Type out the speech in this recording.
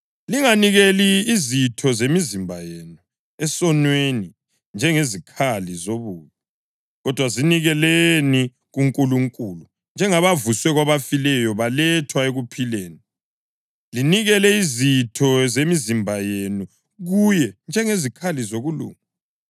Linganikeli izitho zemizimba yenu esonweni njengezikhali zobubi, kodwa zinikeleni kuNkulunkulu njengabavuswe kwabafileyo balethwa ekuphileni; linikele izitho zemizimba yenu kuye njengezikhali zokulunga.